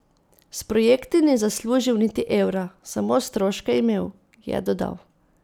S projekti ni zaslužil niti evra, samo stroške je imel, je dodal.